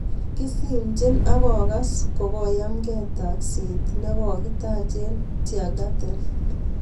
Kisimchi akokas ko kayamkei takset ne kokitach eng Tiergarten.